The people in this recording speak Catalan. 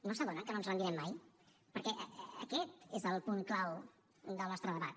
no s’adonen que no ens rendirem mai perquè aquest és el punt clau del nostre debat